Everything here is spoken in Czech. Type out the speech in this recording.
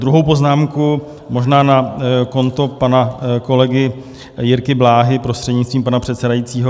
Druhou poznámku, možná na konto pana kolegy Jirky Bláhy prostřednictvím pana předsedajícího.